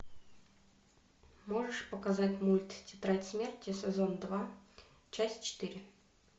можешь показать мульт тетрадь смерти сезон два часть четыре